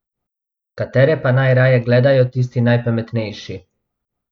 Katere pa najraje gledajo tisti najpametnejši?